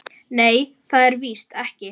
Nei, það er víst ekki.